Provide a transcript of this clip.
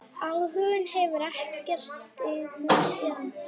Áhuginn hefur ekkert dvínað síðan.